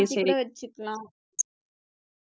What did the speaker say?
மாத்தி கூட வெச்சுக்கலாம்